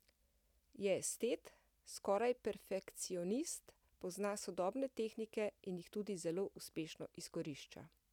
Je estet, skoraj perfekcionist, pozna sodobne tehnike in jih tudi zelo uspešno izkorišča.